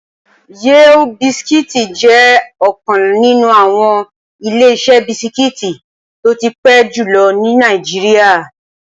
Yale bisikí jẹ́ ọ̀kan nínú àwọn Ileṣẹ́ bisikí tó ti pẹ́ jùlọ ní Nàìjíríà